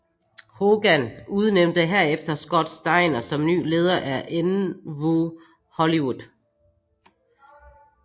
Hogan udnævnte herefter Scott Steiner som ny leder af nWo Hollywood